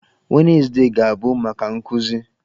Wednezde ga-abụ maka nkụzi.